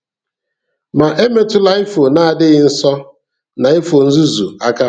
Ma emetụla ifo na-adịghị nsọ na ifo nzuzu aka.